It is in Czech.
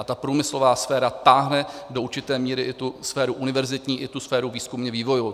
A ta průmyslová sféra táhne do určité míry i tu sféru univerzitní i tu sféru výzkumně-vývojovou.